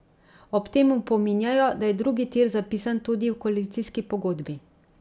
Ob tem opominjajo, da je drugi tir zapisan tudi v koalicijski pogodbi.